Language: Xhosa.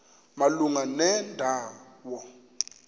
malunga nenda wo